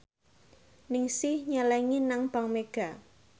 Ningsih nyelengi nang bank mega